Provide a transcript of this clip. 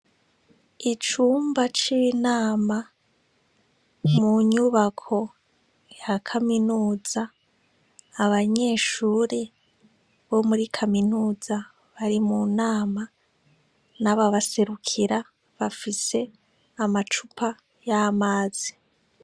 Icumba c'inama munyubako ya kaminuza, abanyeshuri bo muri kaminuza bari munama, nababaserukira bafise amacupa y'amazi.